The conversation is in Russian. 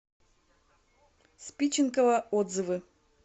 спиченково отзывы